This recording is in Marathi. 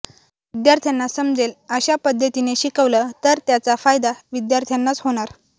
विद्यार्थ्यांना समजेल अशा पद्धतीने शिकवलं तर त्याचा फायदा विद्यार्थ्यांनाच होणार